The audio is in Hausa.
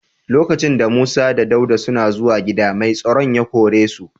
Lokacin da Musa da Dauda suna zuwan gida, mai tsaron ya kore su.